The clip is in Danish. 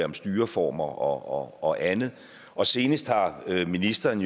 med styreformer og andet og senest har ministeren